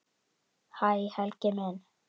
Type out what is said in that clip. Hæ Helgi minn.